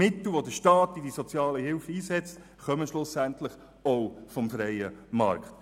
Die Mittel, die der Staat in der Sozialhilfe einsetzt, kommen schlussendlich auch vom freien Markt.